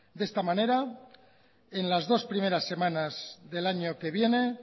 de esta manera en las dos primeras semanas del año que viene